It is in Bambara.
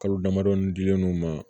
Kalo damadɔ dilen no ma